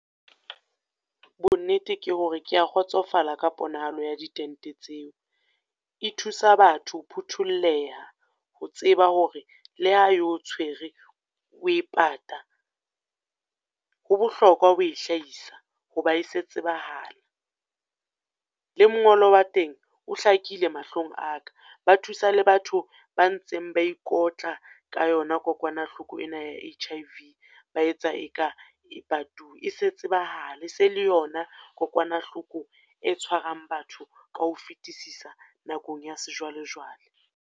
Bo nnete ke hore ke ya kgotsofala ka kgonahalo ya di tente tseo. E thusa batho ho phuthollela, ho tseba hore le ha e o tshwere o e pata, ho bohlokwa ho hlahisa, ho ba e se tsebahala. Le mongolo wa teng o hlakile mahlong a ka, ba thusa le batho ba ntseng ba ikotla ka yona kokwanahloko ena ya H_I_V. Ba etsa e ka e patuwe. E se tsebahala, e se le yona kokwanahloko e tshwarang batho ka ho fitisisa nakong ya sejwalejwale.